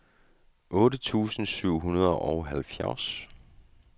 otte tusind syv hundrede og halvfjerds